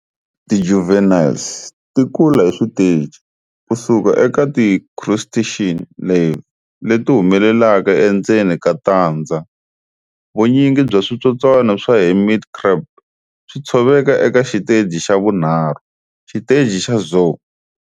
Ti juveniles tikula hi switeji, kusuka eka ti crustacean larvae leti humelelaka endzeni ka tandza. Vunyingi bya switsotswana swa hermit crab swi tshoveka eka xiteji xa vunharhu, xiteji xa zoea.